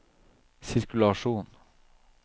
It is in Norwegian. sirkulasjon